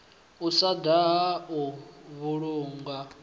u sa daha u vhulunga